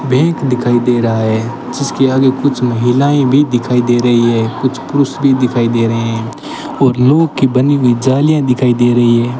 Bank दिखाई दे रहा है जिसके आगे कुछ महिलाएं भी दिखाई दे रही है कुछ पुरुष भी दिखाई दे रहे है और लोहे के बनी हुई जालियां दिखाई दे रही है।